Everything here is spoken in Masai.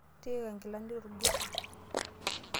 Tiika nkilani torgosoi.